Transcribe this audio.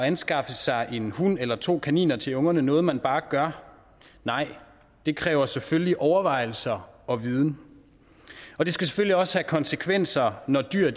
anskaffe sig en hund eller to kaniner til ungerne så noget man bare gør nej det kræver selvfølgelig overvejelser og viden og det skal selvfølgelig også have konsekvenser når dyr